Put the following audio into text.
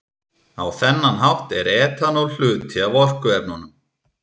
Á þennan hátt er etanól hluti af orkuefnunum.